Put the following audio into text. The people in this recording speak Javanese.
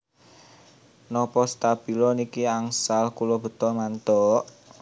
Nopo stabilo niki angsal kula beta mantuk?